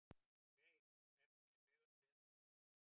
Veig, hvernig er veðurspáin?